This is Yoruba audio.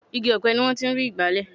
igi ọ̀pẹ ni wọ́n ti ń rí igbale